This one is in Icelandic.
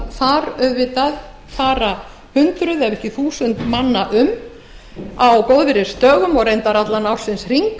þar fara auðvitað hundruð ef ekki þúsundir manna um á góðviðrisdögum og reyndar allan ársins hring